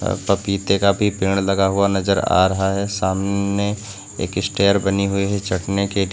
अ पपीते का भी पेड़ लगा हुआ नजर आ रहा है। सामने एक स्टेयर बनी हुई है चढ़ने के --